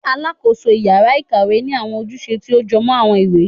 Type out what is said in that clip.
Alakoso ìyára-ikawé ni awọn ojúsẹ ti o jọmọ awọn ìwé